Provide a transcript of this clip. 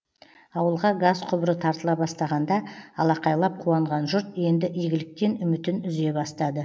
ауылға газ құбыры тартыла бастағанда алақайлап қуанған жұрт енді игіліктен үмітін үзе бастады